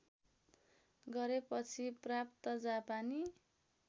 गरेपछि प्राप्त जापानी